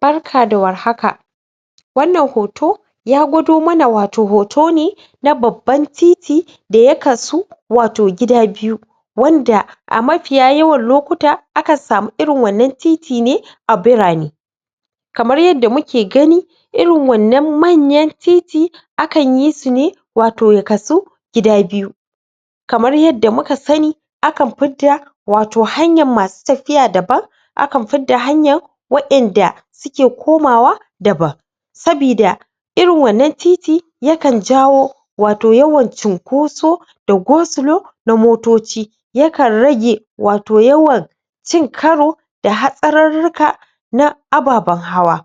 Barka da warhaka wannan hoto ya gawado mana wato hoto ne na baban titi da ya kasu wato gida biyu wanda a mafiya yawan lokuta akan samu wa'innan titine a birane kamar yanda muke gani irin wannan manyan titi akanyi su ne wato ya kasu gida biyu kamar yadda muka sani akan fidda wato hanya masu tafiya daban akan fidda hanayan wa'inda suke komawa daban sabida irin wannan titi yakan jawo wato yawan cunkoso da gosulo na motoci yakan rage wato yawan cin karo da hatsarurruka na ababen hawa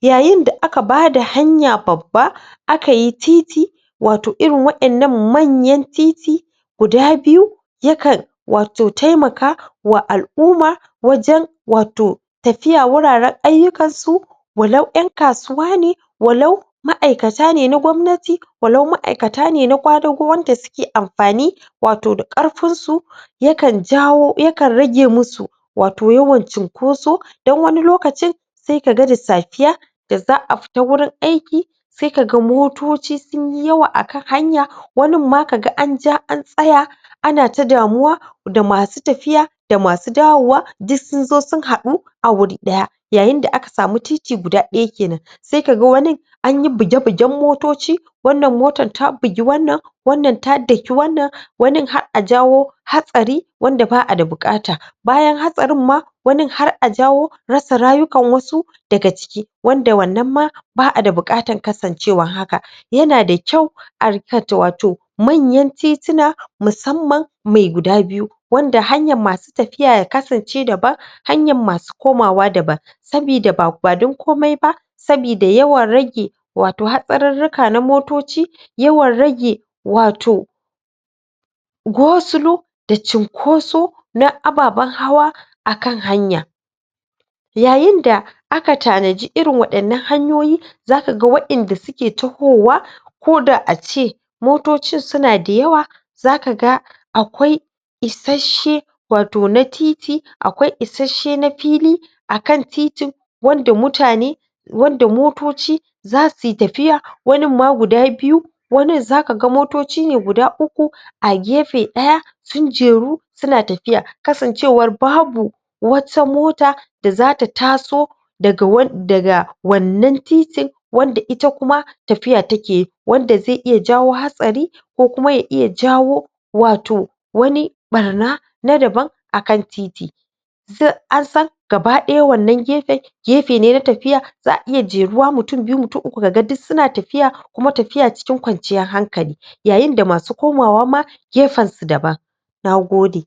yayinda aka bada hanya baba akayi titi wato irin wa'innan manyan titi guda biyu yakan wato taimaka wa al'uma wajen wato tafiya wuraren ayyukansu walau ƴan kasuwa ne walau ma'aikata ne na gwamnatai walau ma'aikata ne na ƙwadago wa'inda suke afani wato da ƙarfinsu yakan jawo yakan rage musu wato yawan cunkoso dan wani lokacin sai ka ga da safiya da za a fita wurin aiki sai ka ga motoci sun yi yawa a kanhanya waninma ka ga an ja an tsaya anata damuwa da masu tafiya da masu dawowa dk sun zo sun haɗu a wuri ɗaya yayinda aka samu titi guda ɗaya kenan sai ka ga wanin anyi buge-bugen motoci wannan motan ta bigi wannan wannan ta daki wannan wani har a jawo hatsari wanda ba a da buƙata bayan hatsarin ma wanin har a jawo rasa rayukan wasu daga ciki wanda da wannan ma ba a da buƙatan kasancewan haka yana da kau a rika wato manayan tituna musamman mai guda biyu wanda hanyan masu tafiya ya kasance daban hanyan masu komawa daban sabida ba dan komi ba sabida yawan rage wato hatsarurruka na motoci yawan rage wato gosulo da cinkoso na ababen hawa akan hanya yayinda aka tanaji irin waɗannan hanyoyi zakaga wa'inda suke tahowa ko da ace motocin suna da yawa zaka ga akwai isasshe wato na titi akwai isasshe na fili akan titin wanda mutane wanda motoci za suyi tafiya waninma guda biyu wanin zaka ga motoci ne guda uku a gefe ɗaya sun jeru suna tafiya kasancewar babu wata mota da zata taso daga daga wannan titin wanda ita kuma tafiya takeyi wanda zai iya jawo hatsari kokuma ya iya jawo wato wani ɓarna na daman akan titi ansan gaba-ɗaya wannan gefen gefene na tafiya za a iya jeruwa mutum byu mutum uku jka ga duk suna tafiya kuma tafiya cikin kwanciya hankali yayinda masu komawa ma gefensu daban na gode